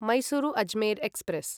Mysuru Ajmer express